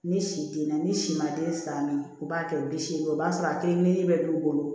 Ni si denna n'i si ma den san min b'a kɛ bi seegin o b'a sɔrɔ a kelen bɛ d'u bolo